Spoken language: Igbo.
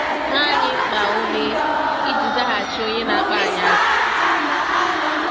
Ma anyị mkpa ume iji ‘zaghachi onye na-akpọ anyị asị.’